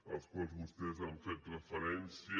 als quals vostès han fet referència